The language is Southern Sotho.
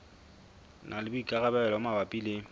na le boikarabelo mabapi le